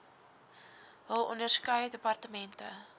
hul onderskeie departemente